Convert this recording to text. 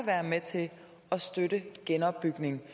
være med til at støtte genopbygning